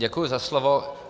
Děkuji za slovo.